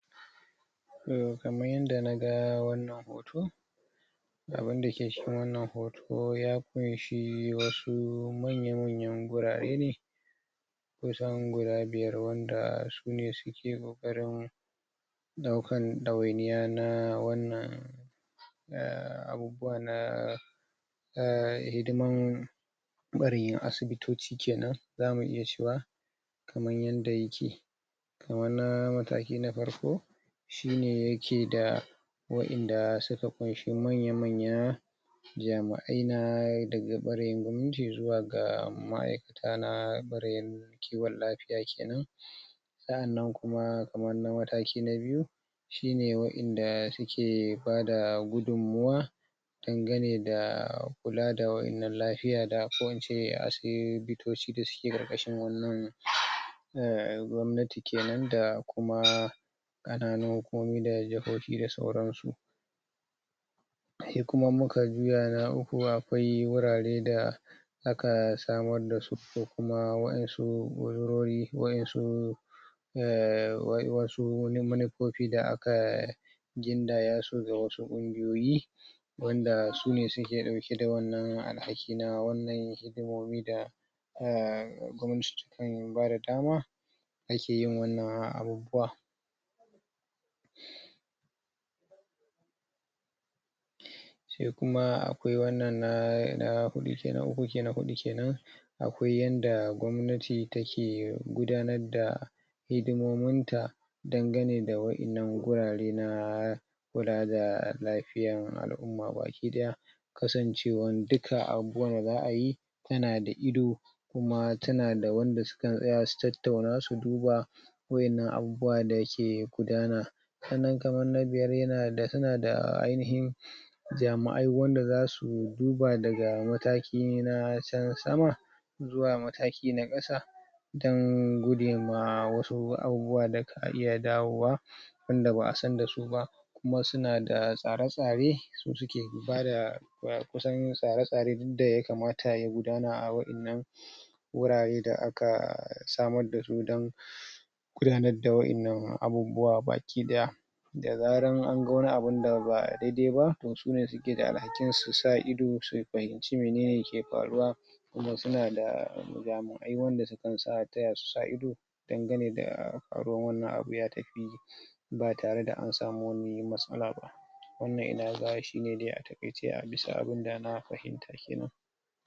kaman yanda naga wannan hoto abinda ke cikin wannan hoto ya ƙunshi wasu manya-manyan gurare ne kusan guda biyar wanda sune suke ƙoƙarin ɗaukan ɗawainiya na wannan abubuwa na na hidiman asibitoci kenan za mu iya cewa kaman yanda yake na mataki na farko shine yakeda wa inda suka ƙunshi manya-manyan jami'ai na daga ɓarin gwamnati zuwa ga ma'aikata na ɓarin kiwon lafiya kenan sa'annan kuma kamar na mataki na biyu shine waƴanda suke bada gudunmawa danganeda kula da waƴannan lafiya ko ince asibitoci da suke ƙarƙashin wannan gwamnati kenan da sauransu su kuma in muka juya na uku akwai wurare da aka samar dasu ko kuma waƴansu wurori ko kuma waƴansu munufofi da aka gindaya su ga wasu ƙungiyoyi wanda sune suke ɗauke da wannan alhaki na wannan hidimomi da bada dama da akeyin wannan abubuwa sai kuma akwai wannan na huɗu uku na faɗi kenan akwai yadda gwamnati take gudanarda hidimominta dangane da waƴannan gurare na kula da lafiyan al'umma baki ɗaya kasancewan duka abubuwan da za'a yi yanada ido kuma tanada wanda sukan tsaya su tattauna su duba waƴannan abubuwa dake gudana sannan kamar na biyar yanada ainihin jami'ai wanda zasu duba daga mataki na can sama zuwa mataki na ƙasa don gujema wasu abubuwa da ka iya dawowa wanda ba'a san dasu ba kuma sunada tsare-tsare da suke bada, kusan tsare-tsare duk da ya kamata ya gudana a waƴannan gurare da aka samar dasu don gudanarda waƴannan abubuwa baki ɗaya da zaran anga wani abun da ba daidai ba sune suke da alhakin su sa ido su fahimci menene ke faruwa tunda sunada jami'ai wanda sukan taya su sa ido dangane da faruwan wannan abu ba tareda an sami wani matsala ba wannan inaga shine a taƙaice bisaga abinda na fahimta.